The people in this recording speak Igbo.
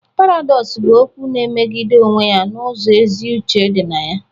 Paradox bụ okwu na-emegide onwe ya n'ụzọ ezi uche dị na ya